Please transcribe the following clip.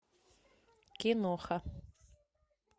киноха